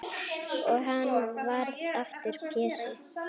Og hann varð aftur Pési.